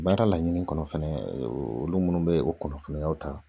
Baara laɲini kɔnɔ fɛnɛ olu minnu bɛ o kunnafoniyaw ta